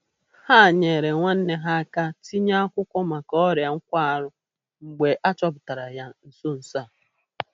Ha nyeere nwanne ha aka tinye akwụkwọ maka ọria nkwarụ mgbe a chọpụtara ya na nso nso a.